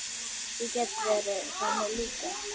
Ég get verið þannig líka.